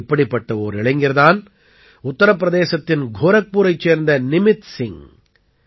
இப்படிப்பட்ட ஓர் இளைஞர் தான் உத்தர பிரதேசத்தின் கோரக்பூரைச் சேர்ந்த நிமித் சிங்க்